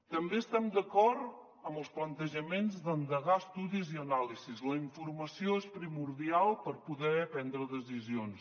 també estem d’acord en els plantejaments d’endegar estudis i anàlisis la informació és primordial per poder prendre decisions